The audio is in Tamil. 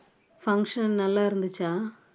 function எல்லாம் நல்லா இருந்துச்சா